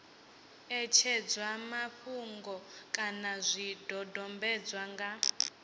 ṋetshedzwa mafhungo kana zwidodombedzwa nga